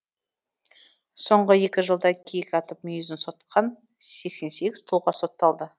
соңғы екі жылда киік атып мүйізін сатқан сексен сегіз тұлға сотталды